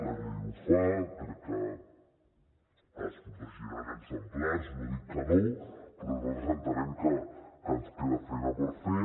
la llei ho fa crec que es protegiran exemplars no dic que no però nosaltres entenem que ens queda feina per fer